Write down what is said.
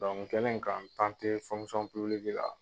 Dɔnku n kɛlen k'an la